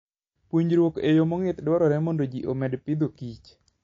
Puonjruok e yo mong'ith dwarore mondo omi ji omed Agriculture and Food.